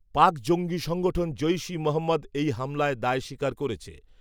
পাক জঙ্গি সংঘঠন জৈশ ই মহম্মদ এই হামলায় দায় স্বীকার করেছে